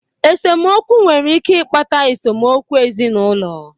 Esemokwu nwere ike ịkpata esemokwu ezinụlọ.